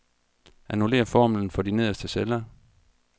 Annullér formlen for de nederste celler.